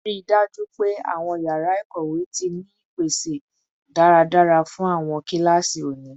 Rii daju pe awọn yara ikowe ti ni ipese daradara fun awọn kilasi oni